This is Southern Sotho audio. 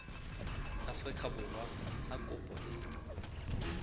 afrika borwa ha kopo e